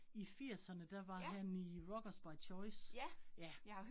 I firserne der var han i Rockers By Choice. Ja